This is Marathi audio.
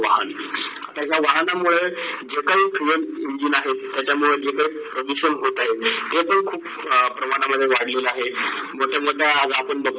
वाहन. त्यांना वाहणं मुडे जे काही fuel engine आहेत त्याचा मुडे जी काही प्रदूषण होत आहे ते ते खूप प्रमाणावर वाढले आहेत. मोठ - मोठ्या आज